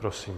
Prosím.